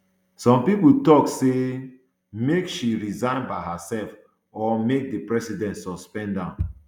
some pipo tok say um make she resign by herself or make di president suspend am